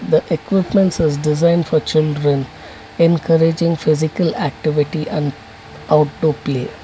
The equipments are design for children encouraging physical activity and out to play.